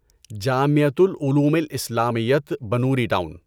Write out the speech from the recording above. جامعۃ العلومِ الاسلامیّۃ بنوری ٹاون